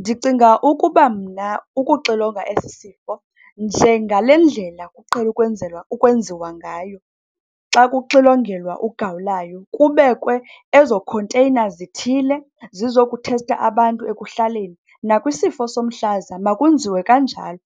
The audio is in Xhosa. Ndicinga ukuba mna ukuxilonga esi sifo njengalendlela kuqhele ukwenzelwa ukwenziwa ngayo xa kuxilongelwa ugawulayo, kubekwe ezo container zithile zizokuthesta abantu ekuhlaleni. Nakwisifo somhlaza, makwenziwe kanjalo,